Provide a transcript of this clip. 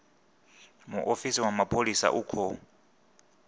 muofisi wa mapholisa u khou